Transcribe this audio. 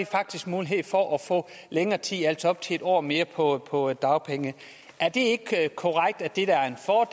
faktisk mulighed for at få længere tid altså op til en år mere på på dagpenge er det ikke korrekt at det er